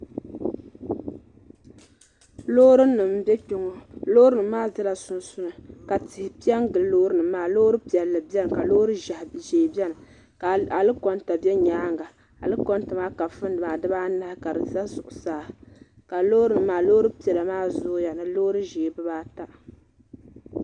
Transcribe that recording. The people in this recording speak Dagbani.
loorinima m-be kpe ŋɔ loorinima maa zela sunsuuni ka tihi pe n-gili loorinima maa loori piɛlli ka loori ʒee beni ka alikɔnta be nyaanga alikɔnta maa kafundi maa dibaa anahi ka di za zuɣusaa ka loorinima maa loori piɛla maa zooya ni loori ʒee bibaa ata